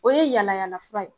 O ye yalayala fura ye